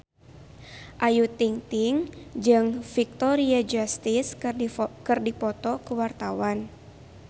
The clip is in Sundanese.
Ayu Ting-ting jeung Victoria Justice keur dipoto ku wartawan